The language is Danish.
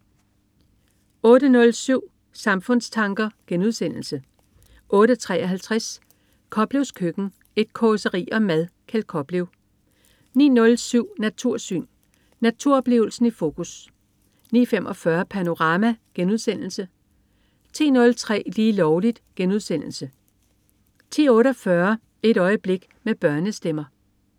08.07 Samfundstanker* 08.53 Koplevs Køkken. Et causeri om mad. Kjeld Koplev 09.07 Natursyn. Naturoplevelsen i fokus 09.45 Panorama* 10.03 Lige Lovligt* 10.48 Et øjeblik med børnestemmer